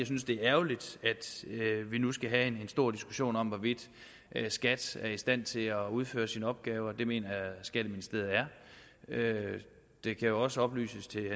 synes det er ærgerligt at vi nu skal have en stor diskussion om hvorvidt skat er i stand til at udføre sine opgaver det mener jeg skatteministeriet er det kan jo også oplyses til